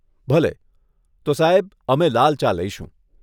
ભલે, તો સાહેબ, અમે લાલ ચા લઈશું.